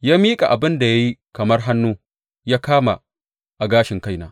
Ya miƙa abin da ya yi kamar hannu ya kama a gashin kaina.